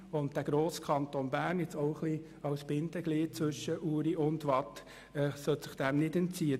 Und der grosse Kanton sollte sich dem, auch ein bisschen als Bindeglied zwischen Uri und Waadt, nicht entziehen.